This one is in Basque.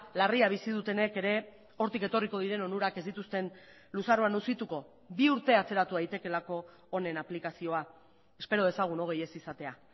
larria bizi dutenek ere hortik etorriko diren onurak ez dituzten luzaroan luzituko bi urte atzeratu daitekeelako honen aplikazioa espero dezagun hogei ez izatea